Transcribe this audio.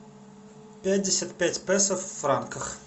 пятьдесят пять песо в франках